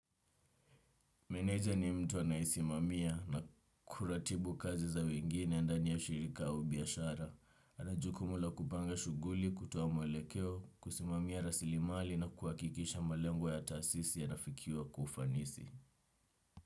Meneja ni mtu anayesimamia na kuratibu kazi za wengine ndani ya shirika au biashara. Ana jukumu la kupanga shughuli, kutoa mwelekeo, kusimamia rasilimali na kuhakikisha malengo ya taasisi yanafikiwa kwa ufanisi.